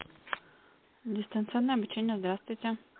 дистанционное обучение здравствуйте